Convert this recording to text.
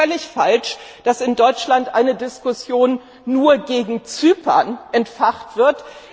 Ich finde es völlig falsch, dass in Deutschland eine Diskussion nur wegen Zypern entfacht wird.